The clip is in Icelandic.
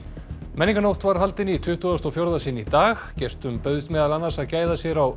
menningarnótt var haldin í tuttugasta og fjórða sinn í dag gestum bauðst meðal annars að gæða sér á